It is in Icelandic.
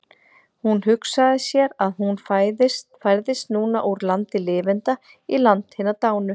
Hún hugsaði sér að hún færðist núna úr landi lifenda í land hinna dánu.